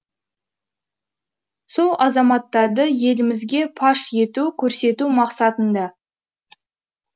сол азаматтарды елімізге паш ету көрсету мақсатында